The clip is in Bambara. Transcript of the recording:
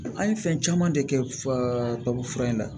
An ye fɛn caman de kɛ tubabu fura in na